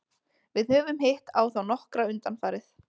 Við höfum hitt á þá nokkra undanfarið.